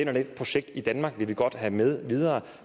og det projekt i danmark vil de godt have med videre